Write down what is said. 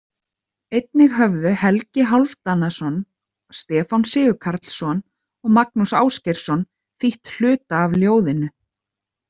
Einnig höfðu Helgi Hálfdanarson, Stefán Sigurkarlsson og Magnús Ásgeirsson þýtt hluta af ljóðinu.